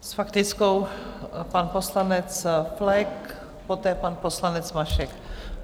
S faktickou pan poslanec Flek, poté pan poslanec Mašek.